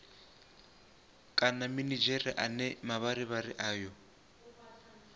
kana minidzhere ane mavharivhari ayo